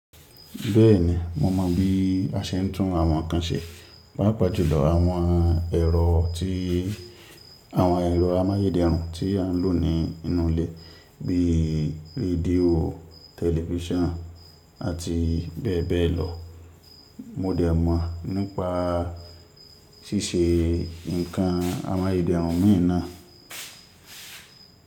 Bẹ́ẹ̀ni mo mọ bí a ṣe ń tún àwọn nǹkan ṣe, pàápàá jùlọ àwọn ẹ̀rọ ti Awon elo amáyédẹrùn tí à ń lò nínú ilé bíi rédíò, tẹlifíṣàn àti bẹ́ẹ̀ bẹ́ẹ̀ lọ, mo dẹ̀ mọ̀ nípa ṣíṣe ǹkan amáyédẹrùn mii na.